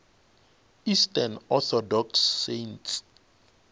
eastern orthodox saints